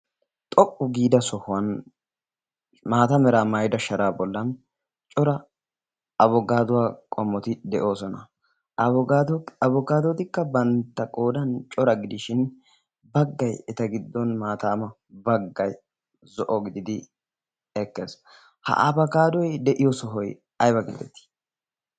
xoqqu giida sohuwan maatameraa maayida sharaa bollan cora abogaaduwaa qomoti de'oosona? abogaadootikka bantta qoodan cora gidishin bagga? eta giddon maataama bagga? zo'o gididi ekkees. ha abagaadoi de'iyo sohoy ayba gindetii?